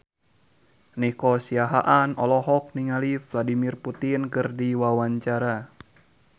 Nico Siahaan olohok ningali Vladimir Putin keur diwawancara